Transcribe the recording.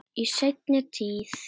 Í seinni tíð.